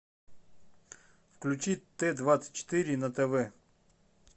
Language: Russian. включи т двадцать четыре на тв